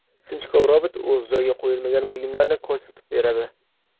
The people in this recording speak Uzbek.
Sinchkov robot o‘z joyiga qo‘yilmagan buyumlarni ko‘rsatib beradi.